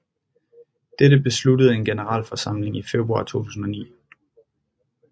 Dette besluttede en generalforsamling i februar 2009